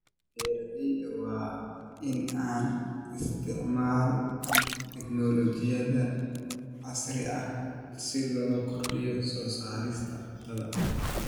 Beeraleyda waa in ay isticmaalaan teknoolojiyada casriga ah si loo kordhiyo soo saarista cuntada.